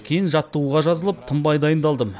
кейін жаттығуға жазылып тынбай дайындалдым